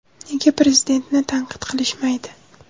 Nega Prezidentni tanqid qilishmaydi?